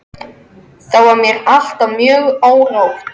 Þá var mér alltaf mjög órótt.